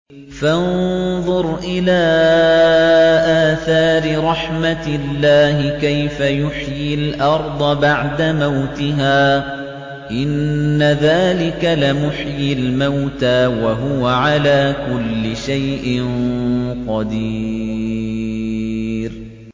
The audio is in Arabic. فَانظُرْ إِلَىٰ آثَارِ رَحْمَتِ اللَّهِ كَيْفَ يُحْيِي الْأَرْضَ بَعْدَ مَوْتِهَا ۚ إِنَّ ذَٰلِكَ لَمُحْيِي الْمَوْتَىٰ ۖ وَهُوَ عَلَىٰ كُلِّ شَيْءٍ قَدِيرٌ